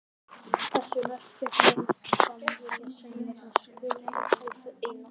Þessu næst fékk Jón fram vilja sinn vegna skulda Kolls við Einar